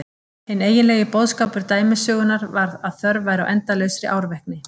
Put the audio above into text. En hinn eiginlegi boðskapur dæmisögunnar var að þörf væri á endalausri árvekni.